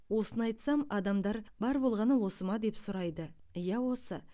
осыны айтсам адамдар бар болғаны осы ма деп сұрайды иә осы